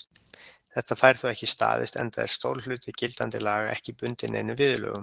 Þetta fær þó ekki staðist, enda er stór hluti gildandi laga ekki bundinn neinum viðurlögum.